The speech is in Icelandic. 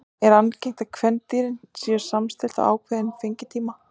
Þar er algengt er að kvendýrin séu samstillt á ákveðinn fengitíma.